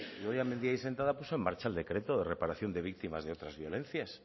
idoia mendia ahí sentada puso en marcha el decreto de reparación de víctimas de otras violencias